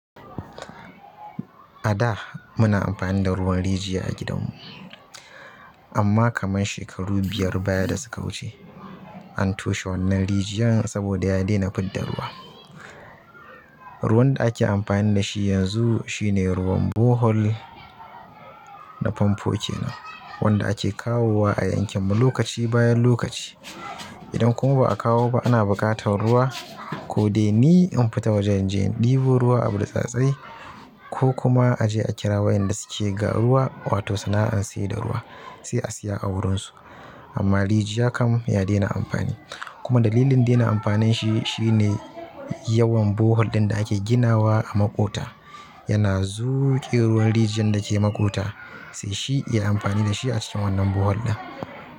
A da muna amfani da ruwan rijiya a gidan mu. Amma kaman shekaru biyar baya da suka wuce an toshe wannan rijiyar saboda ya dena fidda ruwa. Ruwan da ake amfani da shi yanzu shine ruwan borehol da famfo kenan wanda ake kawowa a yankin mu lokaci bayan lokaci. Idan kuma ba a kawo ba ana buƙatar ruwa ko dai ni in fita wajen je ɗibo ruwa a burtsatse ko kuma a je a kira wayanda suke ga ruwa wato sana'an saye da ruwa sai a siya a wurin su. Amma rijiya kam ya dena amfani. Kuma dalilin dena amfanin shi shine yawan borehol ɗin da ake ginawa a maƙota yana zuƙe ruwan rijiyar dake maƙota sai shi iya amfani da shi a cikin wannan borehol ɗin.